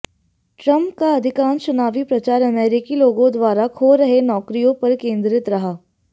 Trump का अधिकांश चुनावी प्रचार अमेरिकी लोगों द्वारा खो रहे नौकरियों पर केंद्रित रहा